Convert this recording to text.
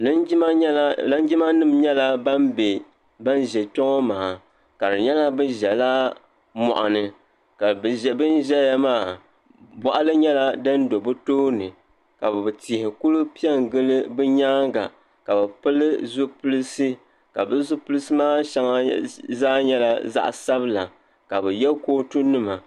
Linjima nyɛla linjimanima nyɛla ban be ban ʒɛ kpɛŋɔ maa ka di nyɛla bɛ ʒɛla mɔɣuni ka bɛn ʒɛya maa bɔɣili nyɛla din do bɛ tooni ka tihi kuli pe n gili bɛ nyaanga ka bɛ pili zupilsi ka bɛ zupilsi maa shɛŋa zaa nyɛla zaɣ sabila ka bɛ yɛ kootunima.